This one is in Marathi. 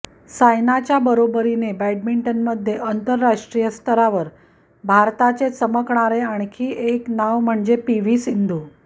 सायनाच्या बरोबरीने बॅडमिंटनमध्ये आंतरराष्ट्रीय स्तरावर भारताचे चमकणारे आणखी एक नाव म्हणजे म्हणजे पीव्ही सिंधू